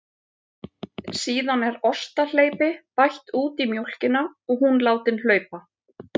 Síðan er ostahleypi bætt út í mjólkina og hún látin hlaupa.